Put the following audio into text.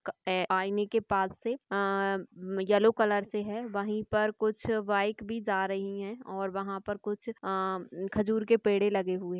क आईने के पास से अ-ह-अ-म येल्लो कलर से है वही पर कुछ बाइक भी जा रही है और वहाँ पर कुछ अ-ह खजूर के पेड़ लगे हुए--